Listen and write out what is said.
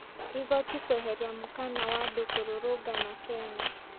Igoti kũĩheria mokana wa andũ kũrũrũngana Kenya.